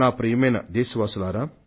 ప్రియమైన నా దేశవాసులారా